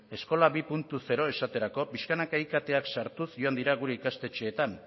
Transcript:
eskola bi puntu zero esaterako pixkanaka iktak sartuz joan dira gure ikastetxeetan